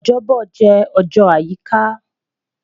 Ojobo jẹ ọjọ ayika